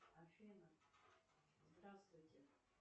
афина здравствуйте